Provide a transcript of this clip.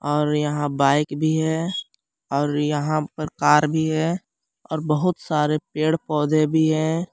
और यहां बाइक भी है और यहां पर कार भी है और बहुत सारे पेड़ पौधे भी है।